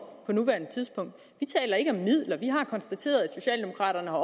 på nuværende tidspunkt vi taler ikke om midler vi har konstateret at socialdemokraterne har